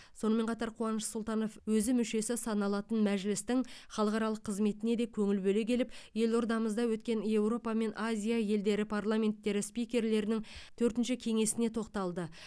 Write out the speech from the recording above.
сонымен қатар қуаныш сұлтанов өзі мүшесі саналатын мәжілістің халықаралық қызметіне де көңіл бөле келіп елордамызда өткен еуропа мен азия елдері парламенттері спикерлерінің төртінші кеңесіне тоқталды